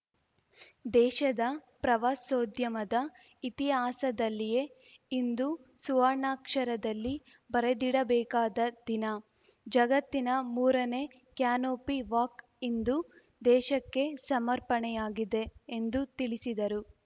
ದೇಶದ ಪ್ರವಾಸೋದ್ಯಮದ ಇತಿಹಾಸದಲ್ಲಿಯೇ ಇಂದು ಸುವರ್ಣಾಕ್ಷರದಲ್ಲಿ ಬರೆದಿಡಬೇಕಾದ ದಿನ ಜಗತ್ತಿನ ಮೂರನೇ ಕ್ಯಾನೋಪಿ ವಾಕ್‌ ಇಂದು ದೇಶಕ್ಕೆ ಸಮರ್ಪಣೆಯಾಗಿದೆ ಎಂದು ತಿಳಿಸಿದರು